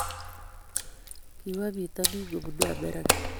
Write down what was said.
Kiwo bitonin kubunu America